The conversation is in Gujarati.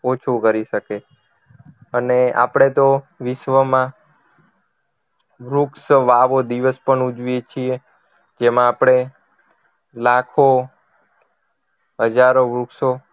ઓછું કરી શકીએ અને આપણે તો વિશ્વમાં વૃક્ષ વાવો દિવસ પણ ઉજવીએ છીએ જેમાં આપણે લાખો હજારો વૃક્ષો